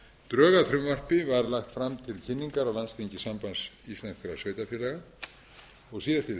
drög að frumvarpi var lagt fram til kynningar á landsþingi sambands íslenskra sveitarfélaga síðastliðið